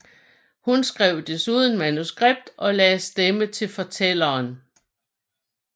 Hun skrev desuden manuskript og lagde stemme til fortælleren